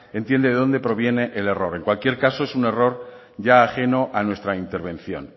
entiende de donde proviene el error en cualquier caso es un error ya ajeno a nuestra intervención